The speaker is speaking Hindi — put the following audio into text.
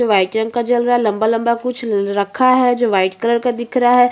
व्हाईट रंग का जल रहा है जो लंबा- लंबा कुछ रखा है जो व्हाईट कलर का दिख रहा हैं।